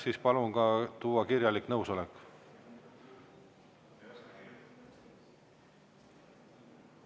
Siis palun tuua ka kirjalik nõusolek.